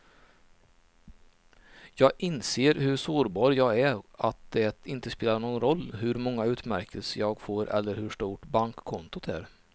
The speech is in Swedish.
Jag inser hur sårbar jag är, att det inte spelar någon roll hur många utmärkelser jag får eller hur stort bankkontot är.